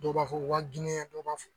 Dɔw b'a fɔ u ka diinɛ dɔw b'a fɔ